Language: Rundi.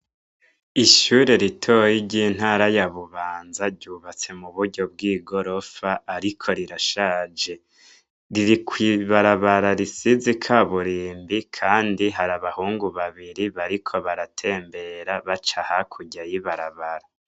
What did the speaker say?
Ishure ritoyi ry'intara ya bubanza ryubatse mu buryo bw'igorofa, ariko rirashaje riri kwibarabara risize ikaburimbi, kandi hari abahungu babiri bariko baratembera baca hakurya y'ibarabara.